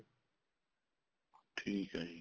ਠੀਕ ਆ ਜੀ